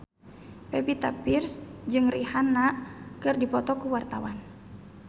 Pevita Pearce jeung Rihanna keur dipoto ku wartawan